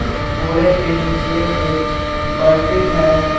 बोरे के नीचे एक बाल्टी है।